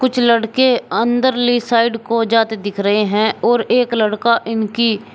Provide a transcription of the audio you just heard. कुछ लड़के अंदर ले साइड को जाते दिख रहे हैं और एक लड़का इनकी --